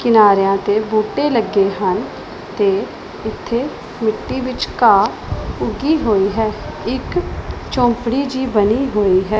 ਕਿਨਾਰਿਆਂ ਤੇ ਬੂਟੇ ਲੱਗੇ ਹਨ ਤੇ ਇੱਥੇ ਮਿੱਟੀ ਵਿੱਚ ਘਾਹ ਉਗੀ ਹੋਈ ਹੈ ਇਕ ਝੌਂਪੜੀ ਜਿਹੀ ਬਣੀ ਹੋਈ ਹੈ।